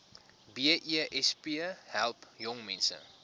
besp help jongmense